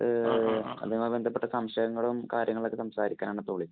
അതുമായി ബന്ധപ്പെട്ട സംശയങ്ങളും, കാര്യങ്ങളുമൊക്കെ സംസാരിക്കാനാണ് ഇപ്പൊ വിളിച്ചത്.